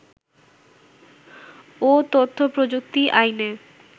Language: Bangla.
ও তথ্যপ্রযুক্তি আইনে